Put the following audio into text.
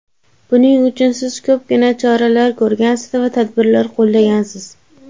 Buning uchun siz ko‘pgina choralar ko‘rgansiz va tadbirlar qo‘llagansiz.